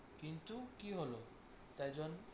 কিন্তু কী হলো তাই জন্য